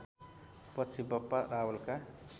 पछि बप्पा रावलका